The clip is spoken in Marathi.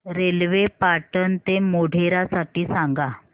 रेल्वे पाटण ते मोढेरा साठी सांगा